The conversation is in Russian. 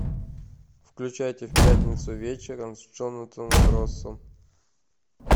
включайте в пятницу вечером с джонатаном россом